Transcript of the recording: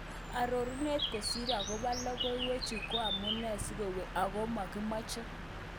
Arorunet kosir agopa logowek chuu ko amune sikoweng ago makimache?